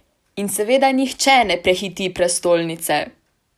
In seveda nihče ne prehiti prestolnice!